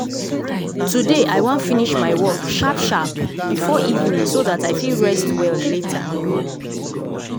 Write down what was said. today i wan finish my work sharp sharp before evening so that i fit rest well later.